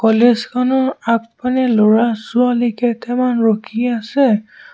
College খনৰ আগফালে ল'ৰা-ছোৱালী কেইটামান ৰখি আছে।